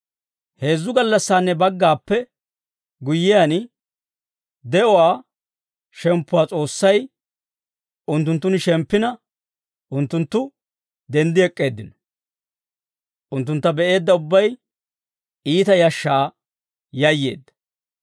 Heezzu gallassaanne baggappe guyyiyaan, de'uwaa shemppuwaa S'oossay unttunttun shemppina, unttunttu denddi ek'k'eeddino. Unttuntta be'eedda ubbay iita yashshaa yayyeedda.